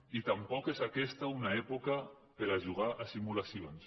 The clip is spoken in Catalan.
i tampoc és aquesta una època per a jugar a simulacions